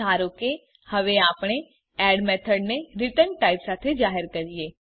ધારો કે હવે આપણે એડ મેથડને રીટર્ન ટાઇપ સાથે જાહેર કરીએ